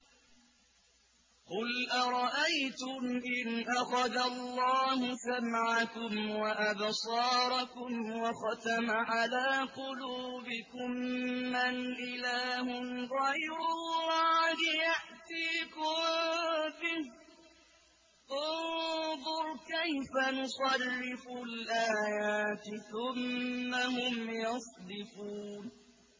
قُلْ أَرَأَيْتُمْ إِنْ أَخَذَ اللَّهُ سَمْعَكُمْ وَأَبْصَارَكُمْ وَخَتَمَ عَلَىٰ قُلُوبِكُم مَّنْ إِلَٰهٌ غَيْرُ اللَّهِ يَأْتِيكُم بِهِ ۗ انظُرْ كَيْفَ نُصَرِّفُ الْآيَاتِ ثُمَّ هُمْ يَصْدِفُونَ